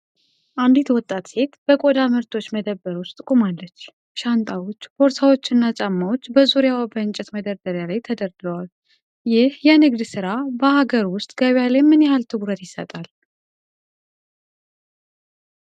አንዲት ወጣት ሴት በቆዳ ምርቶች መደብር ውስጥ ቆማለች። ሻንጣዎች፣ ቦርሳዎችና ጫማዎች በዙሪያዋ በእንጨት መደርደሪያ ላይ ተደርድረዋል። ይህ የንግድ ሥራ በአገር ውስጥ ገበያ ላይ ምን ያህል ትኩረት ይሰጣል?